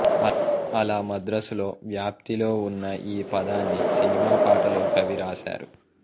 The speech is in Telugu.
అలా మద్రాసులో వ్యాప్తిలో ఉన్న ఈ పదాన్ని సినిమా పాటలో కవి రాశారు